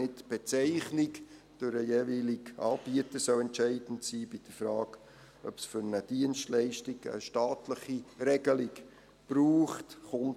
Nicht die Bezeichnung durch den jeweiligen Anbieter soll bei der Frage, ob es für eine Dienstleistung eine staatliche Regelung braucht, entscheidend sein.